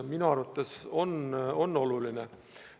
Minu arvates on see oluline.